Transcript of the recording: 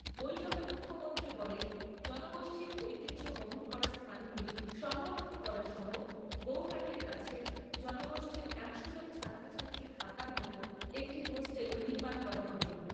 বৈঠকে মুখ্যমন্ত্রী বলেন জনগোষ্ঠীর ঐতিহ্য বহন করা স্থানগুলি সংরক্ষণ করা সহ গৌহাটীর কাছে জনগোষ্ঠীর একশো জন ছাত্রছাত্রী থাকার মতো একটি হোস্টেলও নির্মাণ করা হবে।